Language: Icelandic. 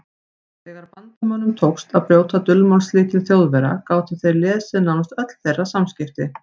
Þegar Bandamönnum tókst að brjóta dulmálslykil Þjóðverja gátu þeir lesið nánast öll þeirra samskipti.